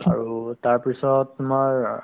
আৰু তাৰপিছত তোমাৰ অহ্